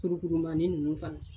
Kurukurumani ninnu fana